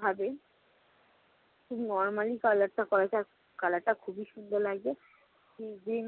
ভাবে খুব normally color করা হয়েছে আর color টা খুবই সুন্দর লাগছে।